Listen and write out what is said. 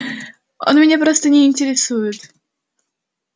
они меня просто не интересуют